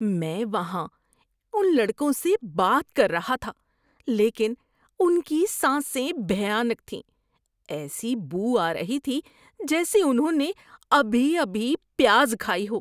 میں وہاں ان لڑکوں سے بات کر رہا تھا لیکن ان کی سانسیں بھیانک تھیں۔ ایسی بو آ رہی تھی جیسے انہوں نے ابھی ابھی پیاز کھائی ہو۔